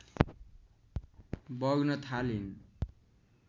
बग्न थालिन्